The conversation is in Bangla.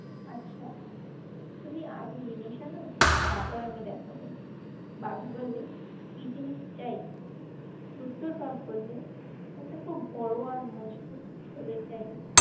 আচ্ছা, তুমি আগে জিনিস আনো, তারপর আমি দেখাবো। বাঘ বললে, কি জিনিস চাই? বুদ্ধর বাপ বললে, এটা খুব বড় আর মজবুত থলে চাই